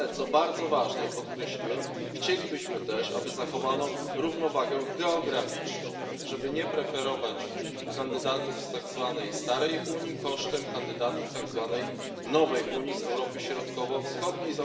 Ale co bardzo ważne i co podkreśliłem chcielibyśmy też, aby zachowano równowagę geograficzną, żeby nie preferować kandydatów z tak zwanej starej Unii kosztem kandydatów tak zwanej nowej Unii z Europy Środkowo Wschodniej.